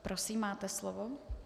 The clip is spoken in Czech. Prosím, máte slovo.